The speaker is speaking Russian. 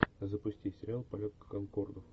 запусти сериал полет конкордов